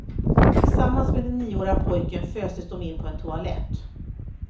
Tillsammans med den nioårige pojken föstes de in på en toalett.